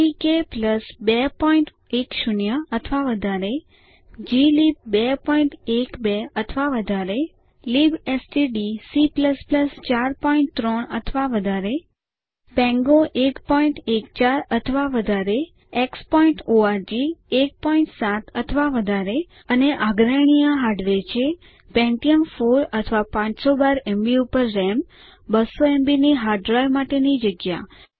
GTK 210 અથવા વધારે glib 212 અથવા વધારે libstdc 43 અથવા વધારે પાંગો 114 અથવા વધારે xઓર્ગ 17 અથવા વધારે અને આગ્રહણીય હાર્ડવેર છે પેન્ટિયમ 4 અથવા 512એમબી ઉપર રામ 200એમબી ની હાર્ડ ડ્રાઇવ માટેની જગ્યા